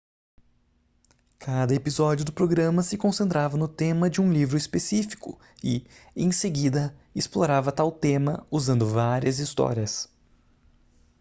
cada episódio do programa se concentrava no tema de um livro específico e em seguida explorava tal tema usando várias histórias